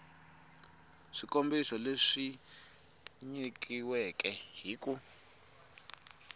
swikombiso leswi nyilaweke hi ku